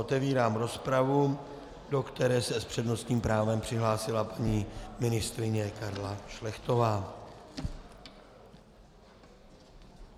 Otevírám rozpravu, do které se s přednostním právem přihlásila paní ministryně Karla Šlechtová.